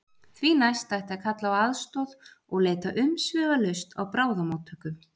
Því næst ætti að kalla á aðstoð og leita umsvifalaust á bráðamóttöku.